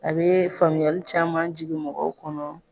A bɛ faamuyali caman jigi mɔgɔw kɔnɔ